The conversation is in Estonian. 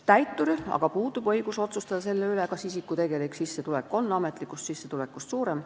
Täituril aga puudub õigus otsustada selle üle, kas isiku tegelik sissetulek on ametlikust sissetulekust suurem.